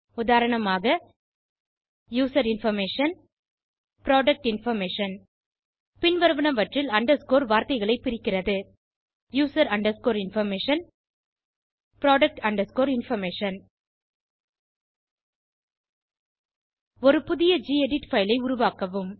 உதாரணமாக user information product information பின்வருவனவற்றில் underscore வார்த்தைகளை பிரிக்கிறது user underscore information product underscore information ஒரு புதிய கெடிட் பைல் ஐ உருவாக்கவும்